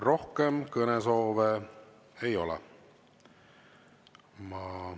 Rohkem kõnesoove ei ole.